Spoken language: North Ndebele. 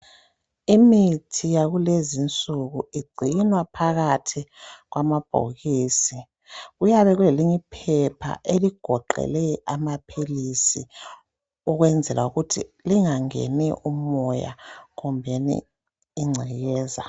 Imithi yakulezi nsuku igcinwa phakathi kwamabhokisi kuyabe kulelinye iphepha eligoqele amaphilisi ukwenzela ukuthi lingangeni umoya kumbeni igcekeza.